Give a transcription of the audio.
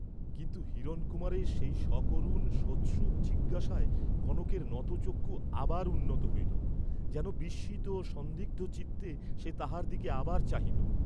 কিন্তু হিরণকুমারের সেই সকরুণ সোৎসুক জিজ্ঞাসায় কনকের নতচক্ষু আবার উন্নত হইল, যেন বিস্মিত ও সন্দিগ্ধ চিত্তে সে তাঁহার দিকে আবার চাহিল।